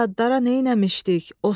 Biz yadlara neyləmişdik?